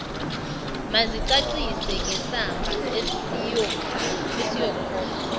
mazicacise ngesamba esiyokhokhwa